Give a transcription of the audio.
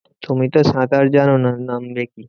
তুমি তো সাঁতার জানো না। নামবে কি?